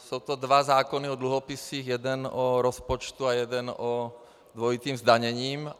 Jsou to dva zákony o dluhopisech, jeden o rozpočtu a jeden o dvojitém zdanění.